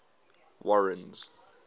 warren's